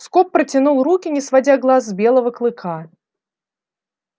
скоп протянул руки не сводя глаз с белого клыка